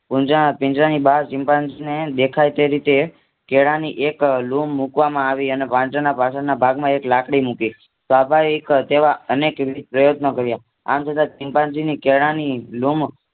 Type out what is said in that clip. પીંજરાની બહાર ચિમ્પાન્જીને દેખાય તે રીતે કેળાની એક લૂમ મુકવામાં આવી અનેપાંજરાના પાછળના ભાગમાં એક લાકડી મૂકી અનેક પ્રયત્નો કાર્ય આમ છતાં ચિમ્પાન્જીને કેળાની લૂમ